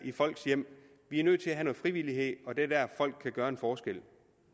i folks hjem vi er nødt til at med frivillighed og det er der folk kan gøre en forskel